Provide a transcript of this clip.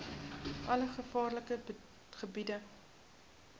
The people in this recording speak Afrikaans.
alle gevaarlike gebiede